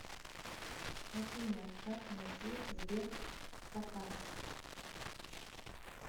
афина как найти сберкота